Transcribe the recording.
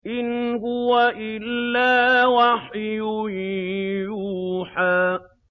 إِنْ هُوَ إِلَّا وَحْيٌ يُوحَىٰ